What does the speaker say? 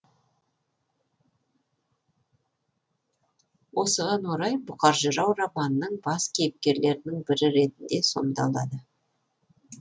осыған орай бұқар жырау романның бас кейіпкерлерінің бірі ретінде сомдалады